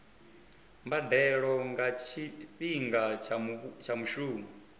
mbadelo nga tshifhinga tsha mushumo